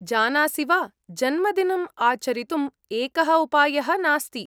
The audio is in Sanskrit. जानासि वा, जन्मदिनम् आचरितुम् एकः उपायः नास्ति।